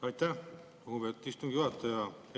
Aitäh, lugupeetud istungi juhataja!